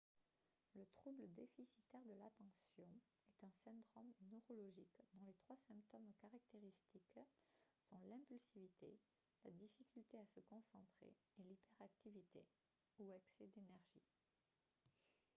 le trouble déficitaire de l'attention « est un syndrome neurologique dont les trois symptômes caractéristiques sont l'impulsivité la difficulté à se concentrer et l'hyperactivité ou excès d'énergie »